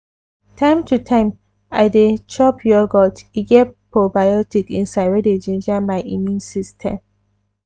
time to time i dey chop yogurt e get probiotic inside wey dey ginger my immune system.